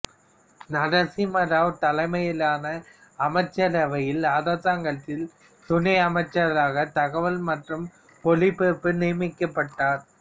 நரசிம்ம ராவ் தலைமையிலான அமைச்சரவையில் அரசாங்கத்தில் துணை அமைச்சராக தகவல் மற்றும் ஒளிபரப்பு நியமிக்கப்பட்டார்